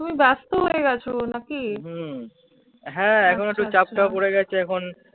তুমি ব্যস্ত হয়ে গেছ নাকি? হম হ্যাঁ এখন একটু চাপটাপ পরে গেছে এখন